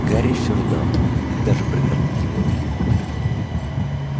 гарри всё ждал когда же прогремит его имя